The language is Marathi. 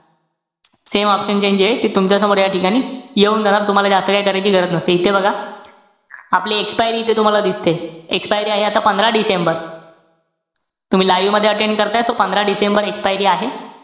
Same option chain जेय, ते तुमच्यासमोर या ठिकाणी येऊन जाणार. तुम्हाला जास्त काई करायची गरज नसते. इथे बघा. आपली expiry इथे तुम्हाला दिसते. expiry आहे आता पंधरा डिसेंबर. तुम्ही live मध्ये attend करताय. तो पंधरा डिसेंबर expiry आहे.